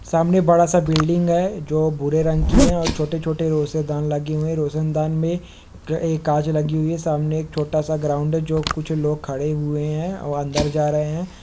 सामने बड़ा-सा बिल्डिंग है जो भूरे रंग की है और छोटे-छोटे रोशेदान लगे हुए है रोशनदान में ए कांच लगी हुई है सामने एक छोटा-सा ग्राउंड है जो कुछ लोग खड़े हुए है अ अंदर जा रहे है।